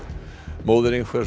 móðir